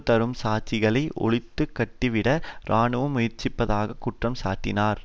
தரும் சாட்சிகளை ஒழித்து கட்டிவிட இராணுவம் முயற்சிப்பதாக குற்றம் சாட்டினார்